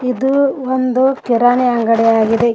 ಇದು ಒಂದು ಕಿರಾಣಿ ಅಂಗಡಿ ಆಗಿದೆ.